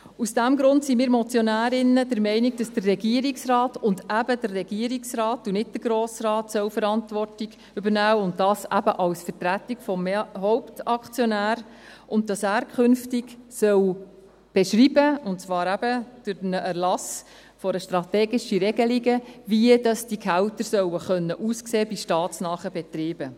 Aus diesem Grund sind wir Motionärinnen der Meinung, dass der Regierungsrat – und eben der Regierungsrat, nicht der Grosse Rat – Verantwortung übernehmen soll, und dies eben als Vertretung des Hauptaktionärs, und dass er künftig beschreiben soll, und zwar eben durch Erlass einer strategischen Regelung, wie diese Gehälter bei staatsnahen Betrieben sollen aussehen können.